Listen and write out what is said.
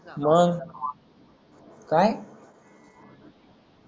मग काय